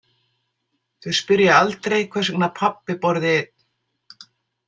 Þau spyrja aldrei hvers vegna pabbi borði einn.